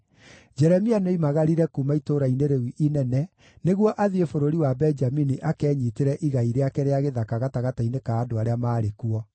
Jeremia nĩoimagarire kuuma itũũra-inĩ rĩu inene nĩguo athiĩ bũrũri wa Benjamini akenyiitĩre igai rĩake rĩa gĩthaka gatagatĩ-inĩ ka andũ arĩa maarĩ kuo.